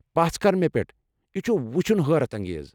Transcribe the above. پژھ كر مے٘ پیٹھ ، یہِ چھُ وُچھنَ حٲرت انگیز۔